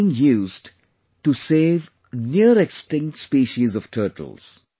They are being used to save near extinct species of turtles